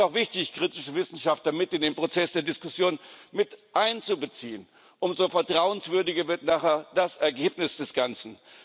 Es ist auch wichtig, kritische Wissenschaftler mit in den Prozess der Diskussion miteinzubeziehen. Umso vertrauenswürdiger wird nachher das Ergebnis des Ganzen.